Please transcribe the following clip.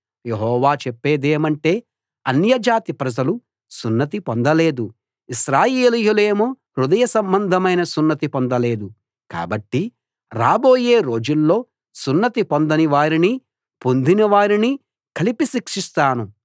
యెహోవా చెప్పేదేమంటే అన్యజాతి ప్రజలు సున్నతి పొందలేదు ఇశ్రాయేలీయులేమో హృదయ సంబంధమైన సున్నతి పొందలేదు కాబట్టి రాబోయే రోజుల్లో సున్నతి పొందని వారినీ పొందిన వారినీ కలిపి శిక్షిస్తాను